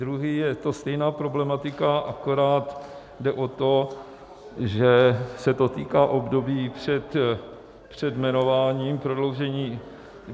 Druhý, je to stejná problematika, akorát jde o to, že se to týká období před jmenováním, prodloužení...